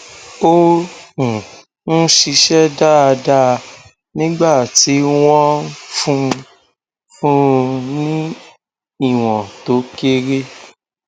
ó um ń ṣiṣẹ dáadáa nígbà tí wọn ń fún ń fún un ní ìwọn tó kéré